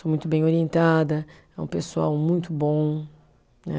Muito bem orientada, é um pessoal muito bom, né?